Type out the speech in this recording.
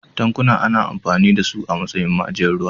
Tankuna ana amfani da su a matsayin ma'ajiyar ruwa.